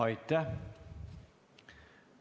Aitäh!